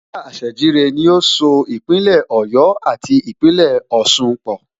Gásà Àṣèjìrẹ́ ni ó so Ìpínlẹ̀ Ọ̀yọ́ àti Ìpínlẹ̀ Ọ̀sun pọ̀